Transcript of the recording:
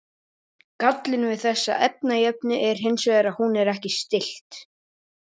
gallinn við þessa efnajöfnu er hins vegar sá að hún er ekki stillt